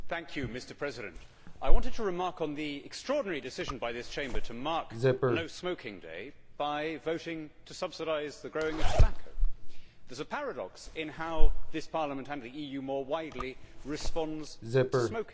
Mr President, I want to comment on the extraordinary decision by this Chamber to mark No Smoking Day by voting to subsidise the growing of tobacco. There is a paradox in how this Parliament, like the EU more widely, responds to smoking.